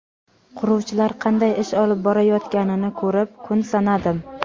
Quruvchilar qanday ish olib borayotganini ko‘rib, kun sanadim.